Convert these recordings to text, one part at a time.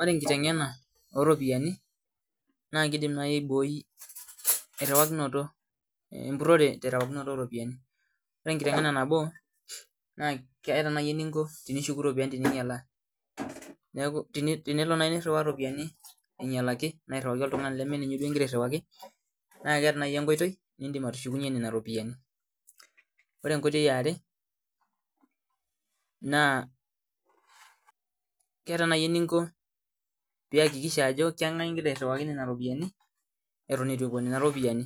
Ore enkiteng'ena oropiani naa kidim nai aiboi empirhore terewakinoto o ropiani Ore enkiteng'ena nabo keeta nai eninko tenishuku iropiani teninyialaa niaku tenelo nai nirhiwaa iropiani ainyalaki naa airhiwaki oltungani lemeninye igira airhiwaki naa keeta nai enkoitoi nidim atushukunye nena ropiani Ore enkoitoi eare naa keeta nai eninko piyakikisha ajo keng'ae igira airhiwaki nena ropiani eton eitu epuo nena ropiani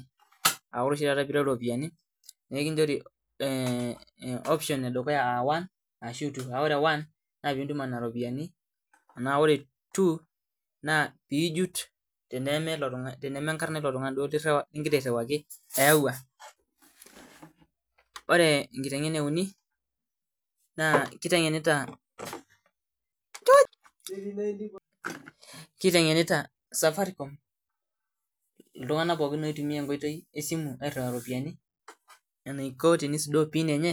aa ore oshi taata piireu iropiani nekinjori eeh option edukuya aa 1 ashu 2 kake ore 1 naa piintuma nena ropiani na ore 2 naa piijut teneme enkarna ilo tungani duo ligira airhiwaki eyawua Ore enkiteng'ena euni naa kiteng'enita Safaricom iltunganak pookin oitumia enkoitoi esimu airhiwaa iropiani enaiko piisudoo pin enye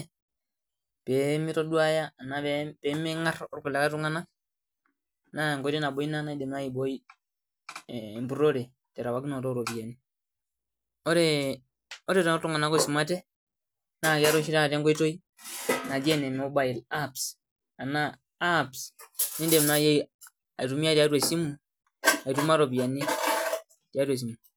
pee mitoduaya ena pemeng'ar okulikae tung'anak naa enkoitoi nai ina nabo naidim nai aiboi emburhore terewakinoto oropiani Ore toltunganak oisumate naa keeta oshi taa enkoitoi naji ene mobile apps enaa apps niidim nai aitumia tiatua esimu aituma iropiani tiatua esimu